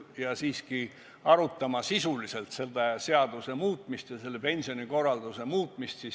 Me peaks siiski arutama sisuliselt kehtiva seaduse muutmist ja praeguse pensionikorralduse muutmist.